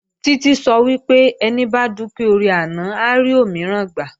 Títí sọ wípé "Ẹni bá dúpẹ́ oore àná, á rí òmíràn gbà"